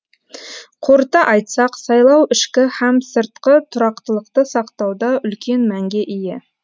қорыта айтсақ сайлау ішкі һәм сыртқы тұрақтылықты сақтауда үлкен мәнге ие